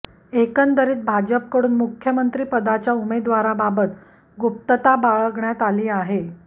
एकंदरीत भाजपकडून मुख्यमंत्रीपदाच्या उमेदवाराबाबत गुप्तता बाळगण्यात आली आहे